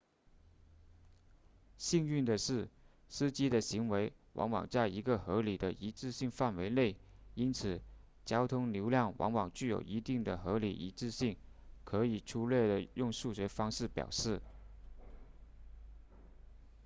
幸运的是司机的行为往往在一个合理的一致性范围内因此交通流量往往具有一定的合理一致性可以粗略地用数学方式表示